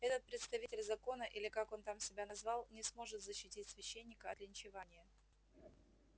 этот представитель закона или как он там себя назвал не сможет защитить священника от линчевания